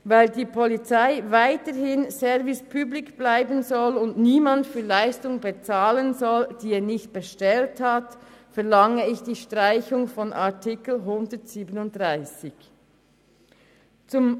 Weil die Polizei weiterhin Service public bleiben und niemand für Leistungen bezahlen soll, die er nicht bestellt hat, verlange ich die Streichung von Artikel 137.